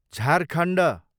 Jharkhand